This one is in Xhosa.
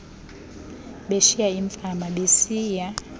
beshiya iifama besiya